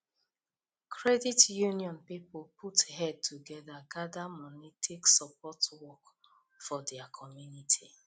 credit union people put head together gather money take support work for their community